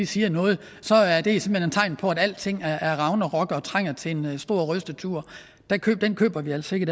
siger noget så er det simpelt hen et tegn på at alting er ragnarok og trænger til en stor rystetur den køber vi altså ikke